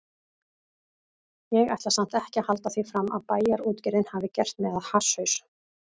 Ég ætla samt ekki að halda því fram að Bæjarútgerðin hafi gert mig að hasshaus.